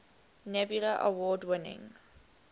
nebula award winning